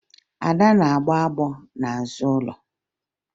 Ada na-agbọ agbọ n'azụ ụlọ